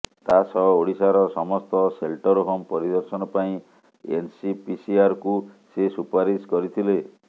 ତା ସହ ଓଡ଼ିଶାର ସମସ୍ତ ସେଲ୍ଟର୍ ହୋମ ପରିଦର୍ଶନ ପାଇଁ ଏନ୍ସିପିସିଆର୍କୁ ସେ ସୁପାରିଶ କରିଥିଲେ